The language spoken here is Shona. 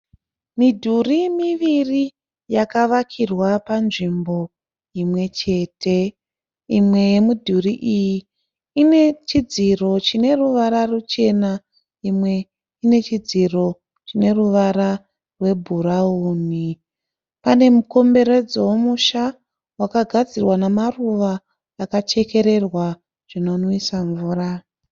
Midhuri miviri yakavakirwa panzvimbo imwechete. Imwe yemidhuri iyi ine chidziro chineruvara ruchena imwe inechidziro chineruvara rwebhurawuni. Pane mukomberedzo womusha wakagadzirwa namaruva akachekererwa zvinonwisa mvura.